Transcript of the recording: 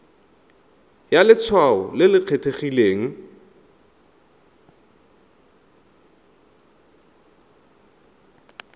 ya letshwao le le kgethegileng